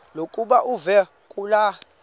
lokuba uve kulaa